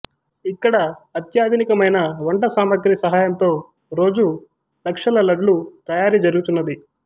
ఇక్కడ అత్యాధునికమైన వంట సామగ్రి సహాయంతో రోజూ లక్షల లడ్లు తయారీ జరుగుతున్నది